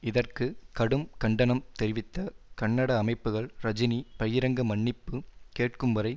இதற்கு கடும் கண்டனம் தெரிவித்த கன்னட அமைப்புகள் ரஜினி பகிரங்க மன்னிப்பு கேட்கும்வரை